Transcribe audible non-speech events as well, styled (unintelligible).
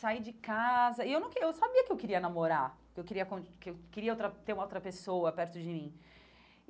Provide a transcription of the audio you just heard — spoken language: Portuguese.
Saí de casa... E eu não (unintelligible) eu sabia que eu queria namorar, que eu queria (unintelligible) que eu queria uma ter outra pessoa perto de mim.